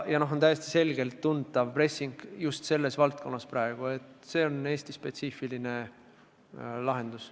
On täiesti selgelt tuntav pressing just selles valdkonnas ja see on Eesti-spetsiifiline lahendus.